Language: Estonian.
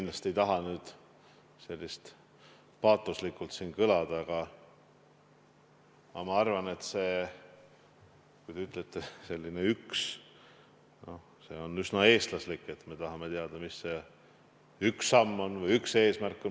Ma ei taha kindlasti nüüd kõlada siin kuidagi paatoslikult, aga ma arvan, et see on üsna eestlaslik, kui meil on, nagu te ütlete, üks samm või üks eesmärk.